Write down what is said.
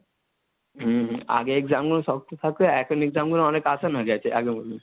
হম আগে exam গুলো শক্ত থাকতো, এখন exam গুলো অনেক hindi হয়ে গেছে, আগে বলুন?